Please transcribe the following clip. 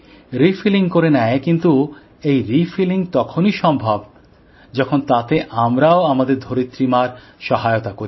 refilling করে নেয় কিন্তু এই রিফিলিং তখনই সম্ভব যখন তাতে আমরাও আমাদের ধরিত্রীমার সহায়তা করি